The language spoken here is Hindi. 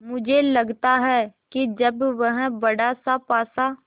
मुझे लगता है कि जब वह बड़ासा पासा